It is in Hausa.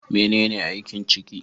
Menene aikin ciki?